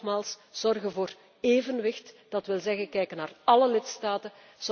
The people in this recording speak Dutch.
Maar nogmaals, ook zorgen voor evenwicht, dat wil zeggen kijken naar alle lidstaten.